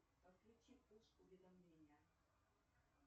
подключи пуш уведомления